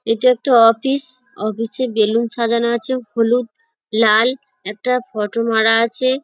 এটা একটা office office -এ বেলুন সাজানো আছে হলুদ লাল একটা ফটো মারা আছে।